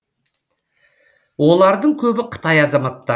олардың көбі қытай азаматтары